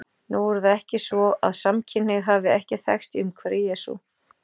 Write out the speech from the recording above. Nú er það ekki svo að samkynhneigð hafi ekki þekkst í umhverfi Jesú.